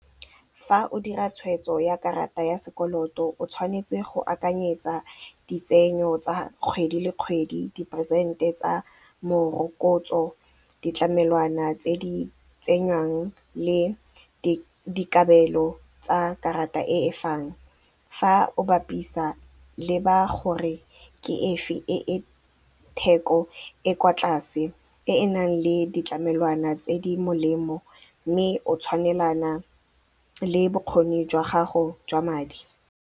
Fa o dira tshweetso ya karata ya sekoloto o tshwanetse go akanyetsa ditsenyo tsa kgwedi le kgwedi, diporesente tsa morokotso, ditlamelwana tse di tsengwang le dikabelo tsa karata e e fang. Fa o bapisa, leba gore ke efe e e theko e kwa tlase e e nang le ditlamelwana tse di molemo mme o tshwanelana le bokgoni jwa gago jwa madi.